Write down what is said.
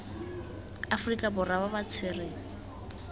aforika borwa ba ba tshwerweng